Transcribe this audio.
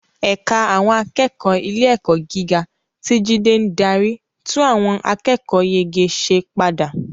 Ẹ̀ka àwọn akẹ́kọ̀ọ́ ilé-ẹ̀kọ́ gíga, tí Jide ń darí, tún àwọn akẹ́kọ̀ọ́yege ṣe padà